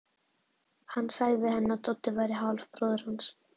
Hann sagði henni að Doddi væri hálfbróðir hans.